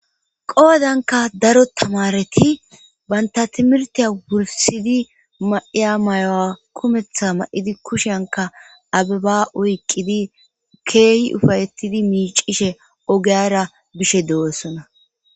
qoodanka daro tamareti banta timirtiya wursidi maiya mayowa kumeththa ma7idi kushenka abeba oyqqidi keehi ufayettidi miicishe ogeyara bishe dewoosona